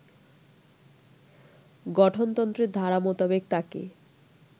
গঠনতন্ত্রের ধারা মোতাবেক তাকে